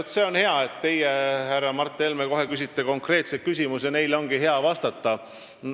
Vaat see on hea, et teie, härra Mart Helme, küsite konkreetseid küsimusi – neile ongi hea vastata.